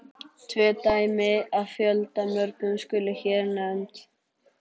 Tvö dæmi af fjöldamörgum skulu hér nefnd.